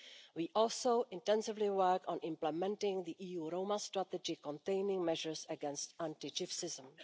We also intensively work on implementing the EU Roma strategy containing measures against anti Gypsyism.